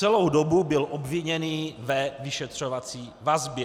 Celou dobu byl obviněný ve vyšetřovací vazbě.